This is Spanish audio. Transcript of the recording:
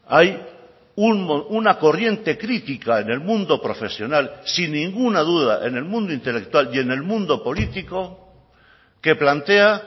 hay una corriente crítica en el mundo profesional sin ninguna duda en el mundo intelectual y en el mundo político que plantea